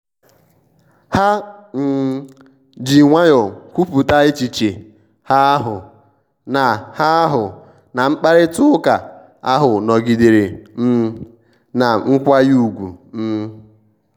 ha um ji nwayọọ kwupụta echiche hahụ na hahụ na mkparịta ụka ahụ nọgidere um na mkwanye ùgwù um